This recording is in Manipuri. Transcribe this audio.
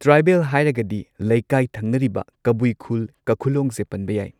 ꯇ꯭ꯔꯥꯏꯕꯦꯜ ꯍꯥꯏꯔꯒꯗꯤ ꯂꯩꯀꯥꯏ ꯊꯪꯅꯔꯤꯕ ꯀꯕꯨꯏ ꯈꯨꯜ ꯀꯈꯨꯂꯣꯡ ꯖꯦ ꯄꯟꯕ ꯌꯥꯏ꯫